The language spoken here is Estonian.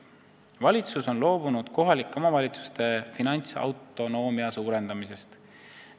Valitsus on loobunud kohalike omavalitsuste finantsautonoomia suurendamisest.